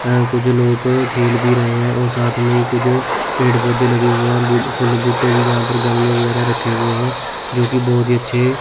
है कुछ लोग खेल भी रहे हैं और साथ में ही कुछ पेड़ पौधे लगे हुए हैं ब्यूटीफुल बूटे भी यहां पर गमले वगैरा रखे हुए हैं जोकि बहोत ही अच्छे --